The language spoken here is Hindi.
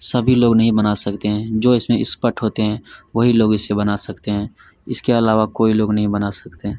सभी लोग नहीं बना सकते हैं जो इसमें एक्सपर्ट होते हैं वही लोग इसे बना सकते हैं इसके अलावा कोई लोग नहीं बना सकते हैं।